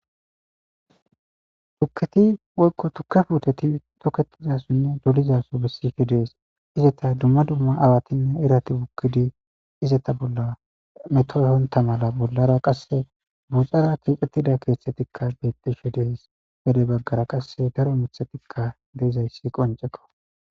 tukketi woyqo tukkefuteti toketizasunne dolizaso bessishe dees izeta dumma dumma awatinne irati bukkidi izeta bolla metoyhonta mala bollara qasse buuxara keexxettida keeththetikka bettishe dees bede baggara qasse daro mithatikka deizayssi qonceko